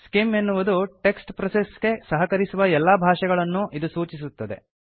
scheme ಎನ್ನುವುದು text process ಗೆ ಸಹಕರಿಸುವ ಎಲ್ಲಾ ಭಾಷೆಗಳನ್ನೂ ಇದು ಸೂಚಿಸುತ್ತದೆ